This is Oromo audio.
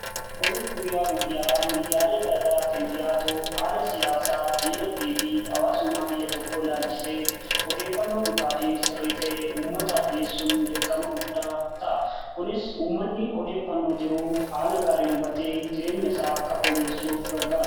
Oduun guyyaa guyyaa miidiyaalee garaa garaatiin dhiyaatu haala siyaasaa, diinagdee fi hawaasummaa biyya tokko ilaalchisee odeeffannoo dhugaa fi sirrii ta'e uummataaf dhiyeessuun dirqama guddaa ta'a. Kunis uummanni odeeffannoo jiru haala gaariin hubatee jireenya isaa akka fooyyessuuf gargaara.